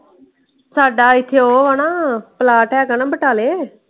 ਸਾਡਾ ਇਥੇ ਉਹ ਹਣਾ ਪਲਾਟ ਹੈਗਾ ਨਾ ਬਟਾਲੇ।